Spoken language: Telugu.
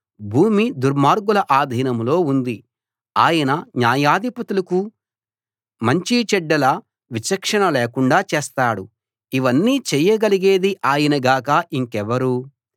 భూమి దుర్మార్గుల ఆధీనంలో ఉంది ఆయన న్యాయాధిపతులకు మంచి చెడ్డల విచక్షణ లేకుండా చేస్తాడు ఇవన్నీ చేయగలిగేది ఆయన గాక ఇంకెవరు